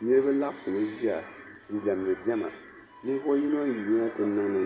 Niriba laɣisi mi ʒiya n-diɛmdi diɛma ninvuhi yino n-yina ti